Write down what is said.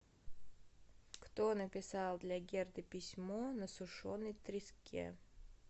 кто написал для герды письмо на сушеной треске